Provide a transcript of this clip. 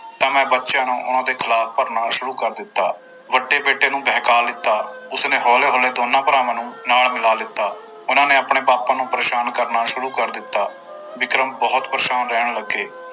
ਤਾਂ ਮੈਂ ਬੱਚਿਆਂ ਨੂੰ ਉਹਨਾਂ ਦੇ ਖਿਲਾਫ਼ ਭਰਨਾ ਸ਼ੁਰੂ ਕਰ ਦਿੱਤਾ, ਵੱਡੇ ਬੇਟੇ ਨੂੰ ਬਹਕਾ ਲਿੱਤਾ ਉਸਨੇ ਹੋਲੇ ਹੋਲੇ ਦੋਨਾਂ ਭਰਾਵਾਂ ਨੂੰ ਨਾਲ ਮਿਲਾ ਲਿੱਤਾ ਉਹਨਾਂਂ ਨੇ ਆਪਣੇ ਪਾਪਾ ਨੂੰ ਪਰੇਸਾਨ ਕਰਨਾ ਸ਼ੁਰੂ ਕਰ ਦਿੱਤਾ ਵਿਕਰਮ ਬਹੁਤ ਪਰੇਸਾਨ ਰਹਿਣ ਲੱਗੇ।